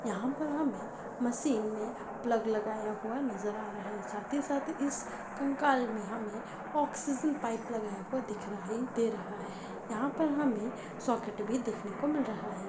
यहाँ पर हमें मशीन में प्लग लगाया हुआ नजर आ रहा है साथी साथ इस कंकाल में हमें ऑक्सीजन पाइप लगा हुआ दिख रहा है दे रहा है यहाँ पर हमें सॉकेट भी देखने को मिल रहा है।